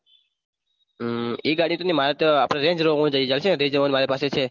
હમ એ ગાડી તો મેં મારા ત્યો આપણે range rover લઇ જાશું મારી પાસે પાસે છે.